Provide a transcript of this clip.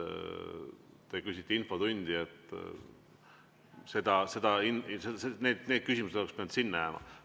Te küsisite infotunni kohta – need küsimused oleks pidanud sinna jääma.